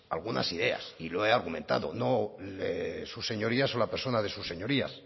algunas ideas y lo he argumentado sus señorías o la persona de sus señorías